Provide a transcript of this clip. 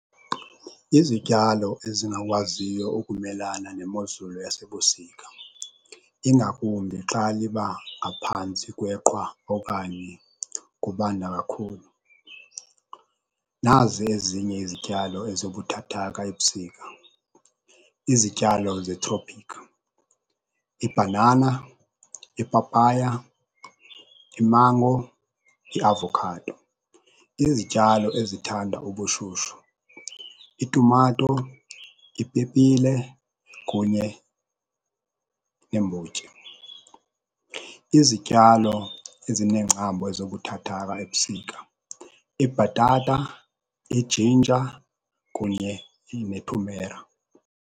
Izityalo ezingakwaziyo ukumelana nemozulu yasebusika ingakumbi xa liba ngaphantsi kweqhwa okanye kubanda kakhulu. Nazi ezinye izityalo ezibuthathaka ebusika, izityalo zetrophikhi, ibhanana, ipapaya, imango, iavokhado. Izityalo ezithanda ubushushu, itumato, ipepile kunye neembotyi. Izityalo ezinengcambu ezibuthathaka ebusika, ibhatata, ijinja kunye nethumera.